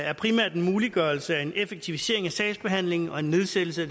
er primært en muliggørelse af en effektivisering af sagsbehandlingen og en nedsættelse af